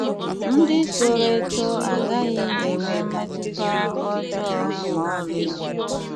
Ndị toro eto agaghị enwe mmetụta ọjọọ ma ọlị.